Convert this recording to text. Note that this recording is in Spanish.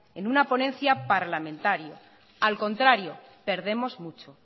en una ponencia parlamentaria al contrario perdemos mucho